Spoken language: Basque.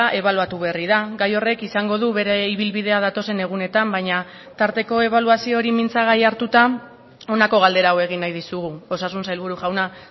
ebaluatu berri da gai horrek izango du bere ibilbidea datozen egunetan baina tarteko ebaluazio hori mintzagai hartuta honako galdera hau egin nahi dizugu osasun sailburu jauna